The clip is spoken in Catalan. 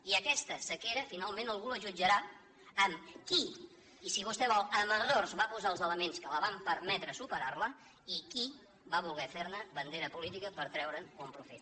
i aquesta sequera finalment algú la jutjarà amb qui i si vostè vol amb errors va posar els elements que van permetre superar la i qui va voler fer ne bandera política per treure’n un profit